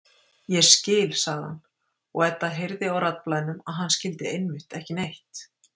Ég skil, sagði hann, og Edda heyrði á raddblænum að hann skildi einmitt ekki neitt.